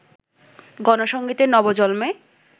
গণসংগীতের নবজন্মে